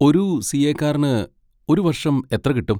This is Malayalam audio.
ഒരു സി. എക്കാരന് ഒരു വർഷം എത്ര കിട്ടും?